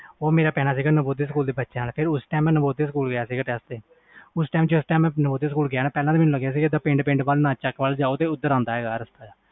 ਉਹ ਪੈਂਦਾ ਸੀ ਨੁਮੁਦਿਆਂ ਸਕੂਲ ਕੋਲ ਤੇ ਮੈਂ ਨੁਮੁਦਿਆਂ ਸਕੂਲ ਗਿਆ ਸੀ ਟੈਸਟ ਦੇਣ ਉਸ time ਮੈਨੂੰ ਲਗਾ ਪਿੰਡ ਪਿੰਡ ਜਾਓ ਉਹ ਦੇਰ ਆਂਦਾ